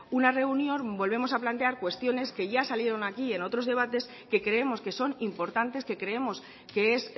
una reunión volvemos a plantear cuestiones que ya salieron aquí en otros debates que creemos que son importantes que creemos que es